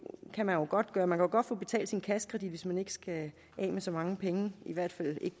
kan man jo godt gøre man kan godt få betalt sin kassekredit hvis man ikke skal af med så mange penge i hvert fald ikke